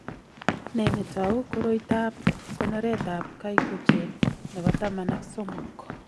Ne netou koroitoab konoretab gycogen nebo taman ak somok?